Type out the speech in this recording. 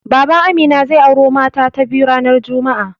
Baban Amina zai auro mata ta biyu ranar juma'a.